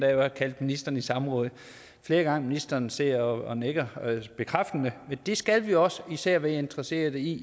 har kaldt ministeren i samråd flere gange ministeren sidder og nikker bekræftende men det skal vi også for især er vi interesseret i